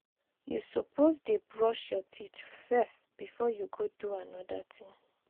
you suppose dey brush your teeth first before you go do anoda thing.